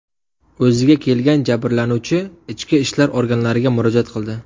O‘ziga kelgan jabrlanuvchi ichki ishlar organlariga murojaat qildi.